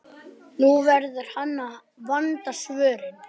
Nú verður hann að vanda svörin.